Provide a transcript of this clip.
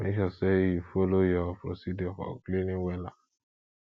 mek sure say sure say yu follow yur procedure for cleaning wella